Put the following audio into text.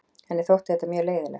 Henni þótti þetta mjög leiðinlegt.